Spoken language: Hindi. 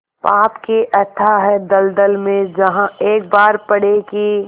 पाप के अथाह दलदल में जहाँ एक बार पड़े कि